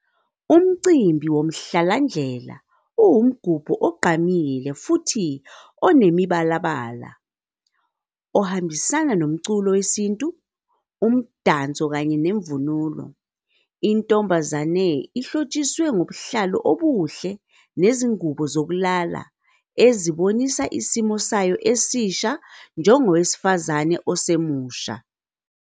Umcimbi woMhlalandlela uwumgubho ogqamile futhi onemibalabala, ohambisana nomculo wesintu, umdanso kanye nemvunulo. Intombazane ihlotshiswe ngobuhlalu obuhle nezingubo zokulala, ezibonisa isimo sayo esisha njengowesifazane osemusha.